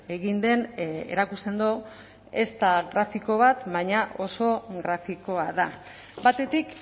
egin den erakusten du ez da grafiko bat baina oso grafikoa da batetik